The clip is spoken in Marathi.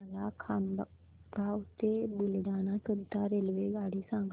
मला खामगाव ते बुलढाणा करीता रेल्वेगाडी सांगा